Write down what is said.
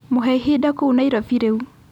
mũhe ihinda kũũ Nairobi rĩu